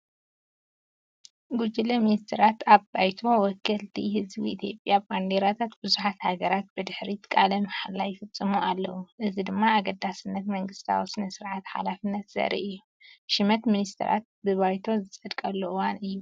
ጉጅለ ሚኒስተራት ኣብ ባይቶ ወከልቲ ህዝቢ ኢትዮጵያ፡ ባንዴራታት ብዙሓት ሃገራት ብድሕሪት ቃለ መሓላ ይፍጽሙ ኣለዉ። እዚ ድማ ኣገዳስነት መንግስታዊ ስነ-ስርዓትን ሓላፍነትን ዘርኢ እዩ። ሽመት ሚኒስተራት ብባይቶ ዝጸደቐሉ እዋን እዩ።